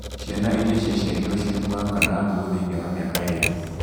Ciana iria ciaciarirũo cirĩ muoyo kana nguũ thĩini wa mĩaka ĩĩrĩ